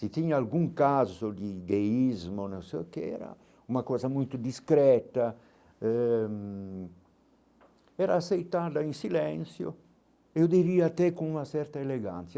Se tinha algum caso de gayismo ou não sei o que, era uma coisa muito discreta eh hum, era aceitada em silêncio, eu diria até com uma certa elegância.